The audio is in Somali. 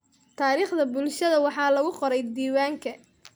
Taariikhda bulshada waxaa lagu qoray diiwaanka.